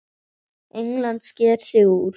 England sker sig úr.